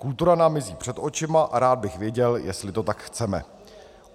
Kultura nám mizí před očima a rád bych věděl, jestli to tak chceme.